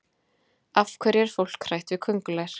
Af hverju er fólk hrætt við köngulær?